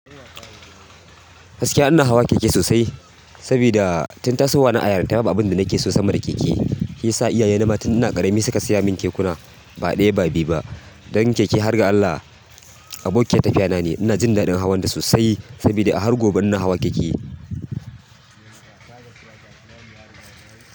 Gaskiya ina hawa keke sosai sabida tun tasowa na a yarinta babu abin da nake so sama da keke. Sa iyaye na ma tun ina ƙarami suka siya min kekuna ba ɗaya ba biyu ba. Dan keke har ga Allah abokiyar tafiya na ne. Ina jin daɗin hawan ta sosai sabida a har gobe ina hawa keke.